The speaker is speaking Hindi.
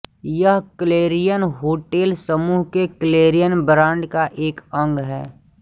यह क्लेरियन होटेल समूह के क्लेरियन ब्रांड का एक अंग है